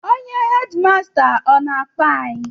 Onye hedịmasta ọ na-akpọ anyị?